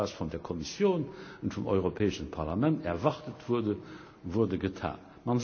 Das, was von der Kommission und vom Europäischen Parlament erwartet wurde, wurde getan.